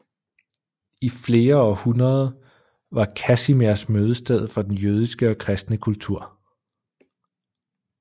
I flere århundrede var Kazimierz mødestedet for den jødiske og kristne kultur